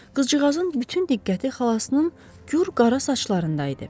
Qızcığazın bütün diqqəti xalasının gür qara saçlarında idi.